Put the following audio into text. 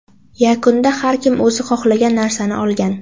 Yakunda har kim o‘zi xohlagan narsani olgan.